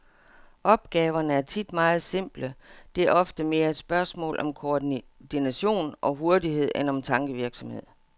Opgaverne er tit meget simple, det er ofte mere et spørgsmål om koordination og hurtighed end om tankevirksomhed.